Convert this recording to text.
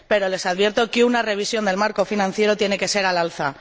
Pero les advierto que una revisión del marco financiero tiene que ser al alza.